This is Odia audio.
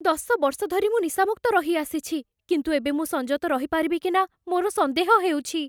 ଦଶ ବର୍ଷ ଧରି ମୁଁ ନିଶାମୁକ୍ତ ରହିଆସିଛି, କିନ୍ତୁ ଏବେ ମୁଁ ସଂଯତ ରହିପାରିବି କି ନା ମୋର ସନ୍ଦେହ ହେଉଛି।